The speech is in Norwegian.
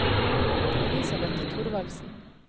Elisabeth Thorvaldsen